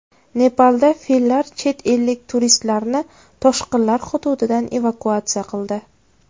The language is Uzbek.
Nepalda fillar chet ellik turistlarni toshqinlar hududidan evakuatsiya qildi.